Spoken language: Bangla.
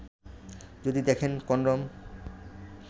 যদি দেখেন কনডম